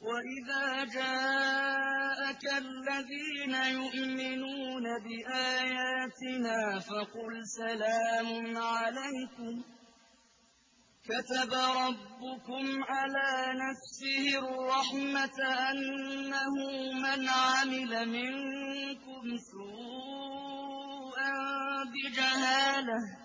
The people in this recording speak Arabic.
وَإِذَا جَاءَكَ الَّذِينَ يُؤْمِنُونَ بِآيَاتِنَا فَقُلْ سَلَامٌ عَلَيْكُمْ ۖ كَتَبَ رَبُّكُمْ عَلَىٰ نَفْسِهِ الرَّحْمَةَ ۖ أَنَّهُ مَنْ عَمِلَ مِنكُمْ سُوءًا بِجَهَالَةٍ